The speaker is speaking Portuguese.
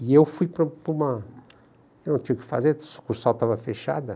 E eu fui para para uma... Eu não tinha o que fazer, a sucursal estava fechada.